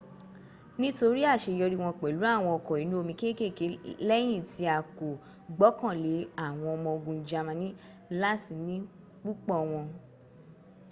nítorí àṣeyọrí wọ́n pẹ̀lú àwọn ọkọ̀ inú omi kékèké lẹ́yìn tí a kò gbọ́kànlé àwọn ọmọ ogun germany láti ní púpọ̀ wọn